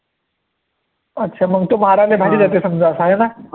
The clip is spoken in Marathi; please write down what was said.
अच्छा मंग तर देते समजा हा